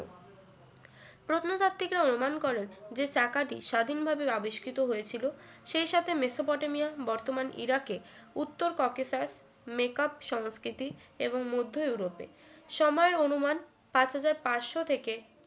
প্রত্নতাত্ত্বিকরা অনুমান করেন যে চাকাটি স্বাধীনভাবে আবিষ্কৃত হয়েছিল সেই সাথে মেসোপটেমিয়ার বর্তমান ইরাকে উত্তর ককেশাস মেকআপ সংস্কৃতি এবং মধ্য ইউরোপে সময়ের অনুমান পাঁচ হাজার পাঁচশো থেকে